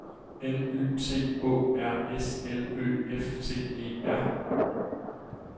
N Y T Å R S L Ø F T E R